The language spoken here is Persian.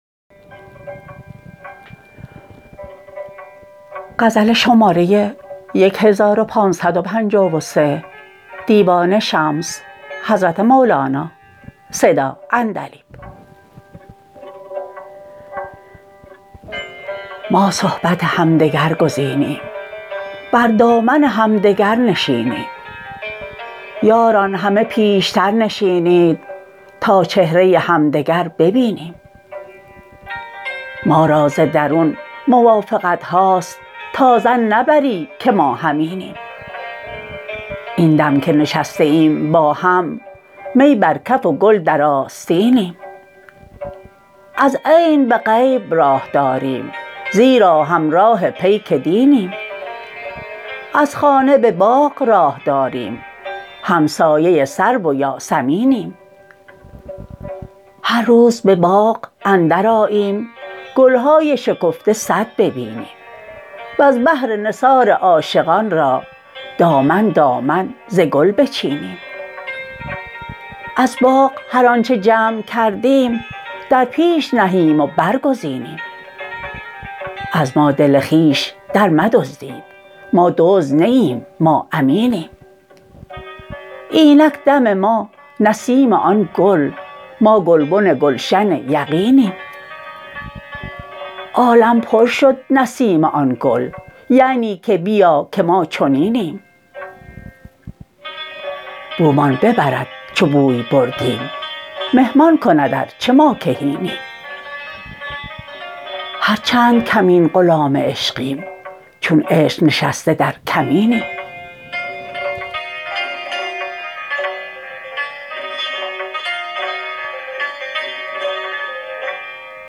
ما صحبت همدگر گزینیم بر دامن همدگر نشینیم یاران همه پیشتر نشینید تا چهره همدگر ببینیم ما را ز درون موافقت هاست تا ظن نبری که ما همینیم این دم که نشسته ایم با هم می بر کف و گل در آستینیم از عین به غیب راه داریم زیرا همراه پیک دینیم از خانه به باغ راه داریم همسایه سرو و یاسمینیم هر روز به باغ اندرآییم گل های شکفته صد ببینیم وز بهر نثار عاشقان را دامن دامن ز گل بچینیم از باغ هر آنچ جمع کردیم در پیش نهیم و برگزینیم از ما دل خویش درمدزدید ما دزد نه ایم ما امینیم اینک دم ما نسیم آن گل ما گلبن گلشن یقینیم عالم پر شد نسیم آن گل یعنی که بیا که ما چنینیم بومان ببرد چو بوی بردیم مه مان کند ار چه ما کهینیم هر چند کمین غلام عشقیم چون عشق نشسته در کمینیم